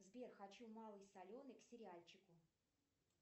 сбер хочу малый соленый к сериальчику